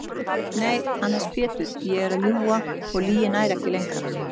Nei annars Pétur ég er að ljúga og lygin nær ekki lengra.